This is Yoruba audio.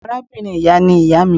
Awọn arabinrin iya ni iya mi.